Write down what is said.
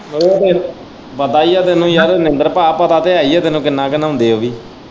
ਉਹ ਤੇ ਪਤਾ ਹੀ ਤੈਨੂੰ ਯਾਰ ਮਨਿੰਦਰ ਪਾ ਪਤਾ ਤੇ ਹੈ ਹੀ ਹੈ ਕਿੰਨਾ ਕ ਨਹਾਉਂਦੇ ਉਹ ਵੀ।